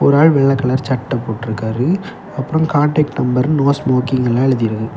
ஒரு ஆளு வெள்ளை கலர் சட்ட போட்டு இருக்காரு அப்புறம் காண்டாக்ட் நம்பர் நோ ஸ்மோக்கிங் எல்லாம் எழுதி இருக்கு.